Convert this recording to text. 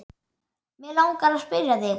Mig langar að spyrja þig.